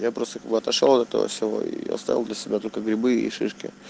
я просто отошёл от этого всего и оставил для себя только грибы и шишки